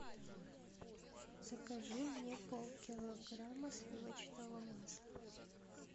закажи мне полкилограмма сливочного масла